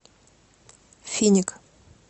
финик